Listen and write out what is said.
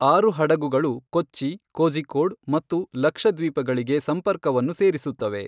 ಆರು ಹಡಗುಗಳು ಕೊಚ್ಚಿ, ಕೋಝಿಕ್ಕೋಡ್ ಮತ್ತು ಲಕ್ಷದ್ವೀಪಗಳಿಗೆ ಸಂಪರ್ಕವನ್ನು ಸೇರಿಸುತ್ತವೆ.